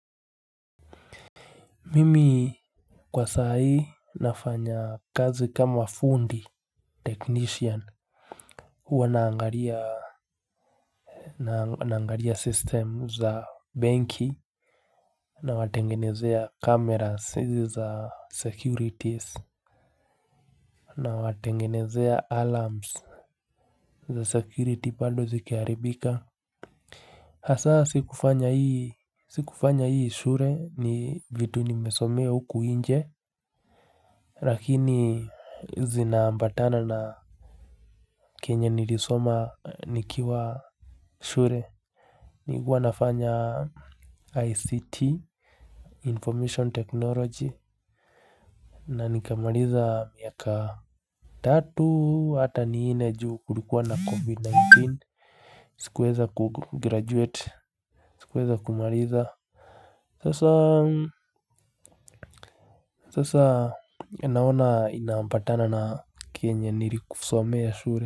Mimi kwa saa hii nafanya kazi kama fundi technician huwa naangaria naangaria system za benki na watengenezea cameras za securities na watengenezea alarms za security bado zikiharibika hasa sikufanya hii shure ni vitu nimesomea huku nje. Rakini zinaambatana na kenye nilisoma nikiwa shure. Nikuwa nafanya ICT, Information Technology. Na nikamaliza miaka tatu hata ni nne juu kulikua na COVID-19. Sikuweza kugraduate, sikuweza kumariza. Sasa naona inaambatana na kenye nilisomea shure.